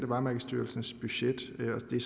varemærkestyrelsens budget og det